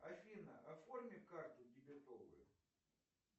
афина оформи карту дебетовую